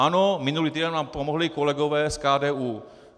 Ano, minulý týden nám pomohli kolegové z KDU.